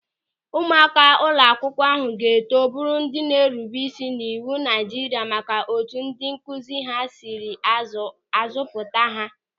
Ụmụaka ụlọakwụkwọ ahụ ga-eto bụrụ ndị na-erube isi n'iwu Naịjirịa maka otu ndị nkụzi ha sịrị azụ pụta ha.